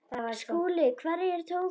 SKÚLI: Hverjir tóku hann?